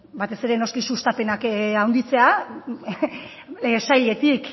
batez ere noski sustapenak handitzea sailetik